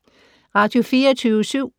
Radio24syv